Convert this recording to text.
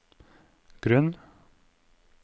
grunn